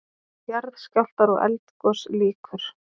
JARÐSKJÁLFTAR OG ELDGOS LÝKUR